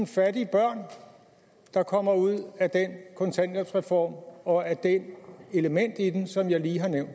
fattige børn der kommer ud af den kontanthjælpsreform og af det element i den som jeg lige har nævnt